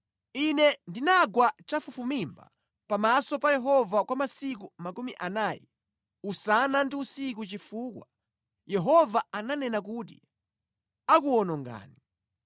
Ine ndinagwa chafufumimba pamaso pa Yehova kwa masiku makumi anayi usana ndi usiku chifukwa Yehova ananena kuti akuwonongani.